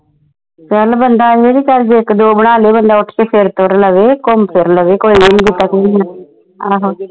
ਚਲ ਬੰਦਾ ਇਹੀ ਕੇ ਜੇ ਇਕ ਦੋ ਬਣਾ ਲੈ ਬੰਦਾ ਉੱਠ ਕੇ ਫਿਰ ਤੁਰ ਲਵੇ ਘੁੰਮ ਫਿਰ ਲਵੇ ਆਹੋ